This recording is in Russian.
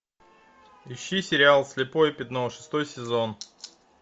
ищи сериал слепое пятно шестой сезон